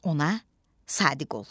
Ona sadiq ol.